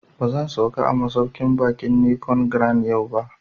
Ba zan sauka a masauƙin baƙin Nicon Grand yau ba